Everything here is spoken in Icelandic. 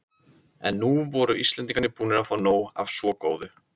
En nú voru Íslendingar búnir að fá nóg af svo góðu.